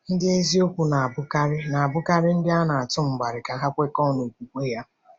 Ndị eziokwu na-abụkarị na-abụkarị ndị a na-atụ mgbali ka ha kwekọọ n’okwukwe ha.